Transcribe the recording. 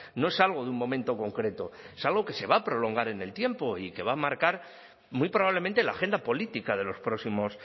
no es algo de un momento concreto es algo que se va a prolongar en el tiempo y que va a marcar muy probablemente la agenda política de los próximos